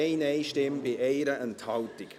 – Viel zu spät, Herr Siegenthaler!